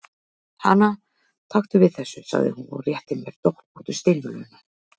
Hana, taktu við þessu, sagði hún og rétti mér doppóttu steinvöluna.